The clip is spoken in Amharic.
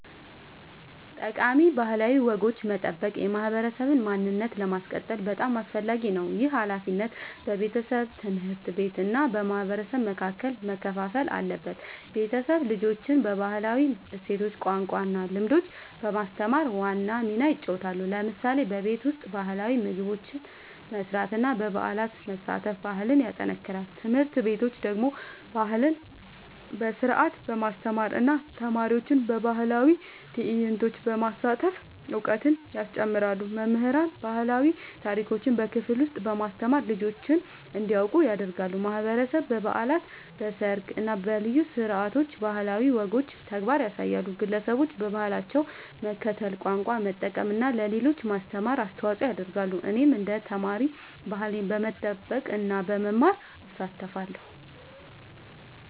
ጠቃሚ ባህላዊ ወጎችን መጠበቅ የማህበረሰብ ማንነትን ለማስቀጠል በጣም አስፈላጊ ነው። ይህ ሃላፊነት በቤተሰብ፣ ትምህርት ቤት እና በማህበረሰብ መካከል መከፋፈል አለበት። ቤተሰብ ልጆችን ባህላዊ እሴቶች፣ ቋንቋ እና ልምዶች በማስተማር ዋና ሚና ይጫወታል። ለምሳሌ በቤት ውስጥ ባህላዊ ምግቦች መስራት እና በበዓላት መሳተፍ ባህልን ያጠናክራል። ትምህርት ቤቶች ደግሞ ባህልን በስርዓት በማስተማር እና ተማሪዎችን በባህላዊ ትዕይንቶች በማሳተፍ እውቀት ያስጨምራሉ። መምህራን ባህላዊ ታሪኮችን በክፍል ውስጥ በማስተማር ልጆች እንዲያውቁ ያደርጋሉ። ማህበረሰብ በበዓላት፣ በሰርግ እና በልዩ ስነ-ስርዓቶች ባህላዊ ወጎችን በተግባር ያሳያል። ግለሰቦችም በባህላቸው መከተል፣ ቋንቋ መጠቀም እና ለሌሎች ማስተማር አስተዋጽኦ ያደርጋሉ። እኔም እንደ ተማሪ ባህሌን በመጠበቅ እና በመማር እሳተፋለሁ።